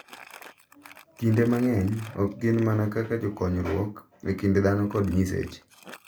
kinde mang’eny ok gin mana kaka jokonyruok e kind dhano kod nyiseche, .